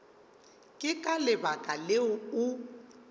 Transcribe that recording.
ke ka lebaka leo o